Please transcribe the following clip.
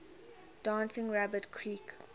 dancing rabbit creek